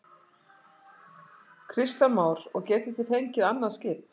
Kristján Már: Og getið þið fengið annað skip?